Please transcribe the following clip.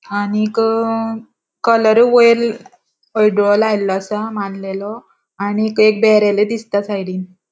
आणिक कलर वयर हळडुओ लायल्लो असा मांडलेलों आणिक एक ब्यारेल दिसता साइडीन .